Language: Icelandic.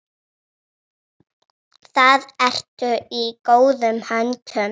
Þar ertu í góðum höndum.